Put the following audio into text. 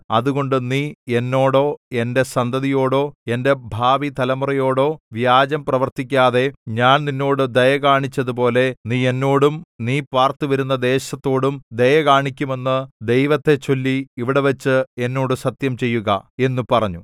അതുകൊണ്ട് നീ എന്നോടോ എന്റെ സന്തതിയോടോ എന്റെ ഭാവിതലമുറയോടോ വ്യാജം പ്രവർത്തിക്കാതെ ഞാൻ നിന്നോട് ദയ കാണിച്ചതുപോലെ നീ എന്നോടും നീ പാർത്തുവരുന്ന ദേശത്തോടും ദയകാണിക്കുമെന്ന് ദൈവത്തെച്ചൊല്ലി ഇവിടെവച്ച് എന്നോട് സത്യം ചെയ്യുക എന്നു പറഞ്ഞു